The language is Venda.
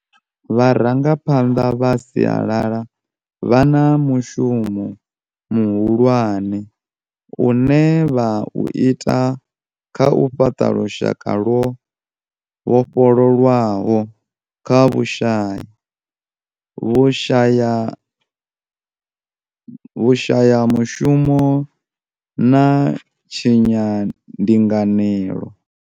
Vharangaphanḓa vha siala la vha na mushumo muhu lwane une vha u ita kha u fhaṱa lushaka lwo vhofholowaho kha vhushai, vhushayamu shumo na tshayandinganelo.